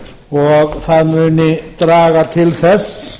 og það muni draga til þess